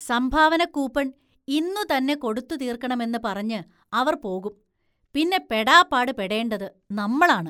സംഭാവനക്കൂപ്പണ്‍ ഇന്നുതന്നെ കൊടുത്തു തീര്‍ക്കണമെന്ന് പറഞ്ഞ് അവര്‍ പോകും പിന്നെ പെടാപാട് പെടേണ്ടത് നമ്മളാണ്.